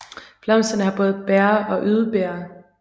Blomsterne har både bæger og yderbæger